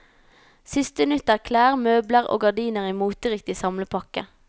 Siste nytt er klær, møbler og gardiner i moteriktig samlepakke.